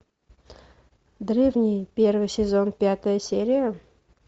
древние первый сезон пятая серия